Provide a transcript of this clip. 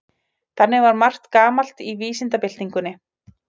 Þannig var margt gamalt í vísindabyltingunni.